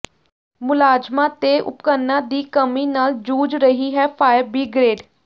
ਮੁਲਾਜ਼ਮਾਂ ਤੇ ਉਪਕਰਨਾਂ ਦੀ ਕਮੀ ਨਾਲ ਜੂਝ ਰਹੀ ਹੈ ਫਾਇਰ ਬਿਗ੍ਰੇਡ